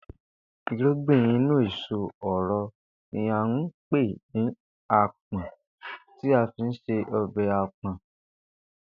Ìrúgbìn inú èso òro ni à ń pè ní àpò̩n tí a fi ń se o̩bè̩ àpò̩n